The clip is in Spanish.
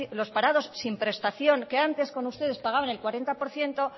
los parados sin prestación que antes con ustedes pagaban el cuarenta por ciento